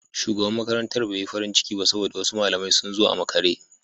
Shugaban makarantar bai yi farin ciki ba saboda wasu malamai sun zo a makare.